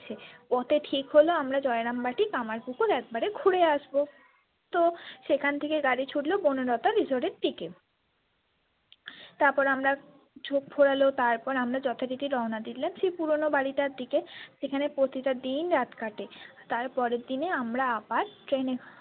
সেখান থেকে গাড়ি ছুটলো বনলতা resort এর দিকে তারপর আমরা ঝোপ ঘোরালো তারপর আমরা যথরীতি রওনা দিলাম সেই পুরানো বাড়িটার দিকে সেইখানে প্রতিটাদিন রাত কাটে তার পরের দিনে আমরা আবার train ।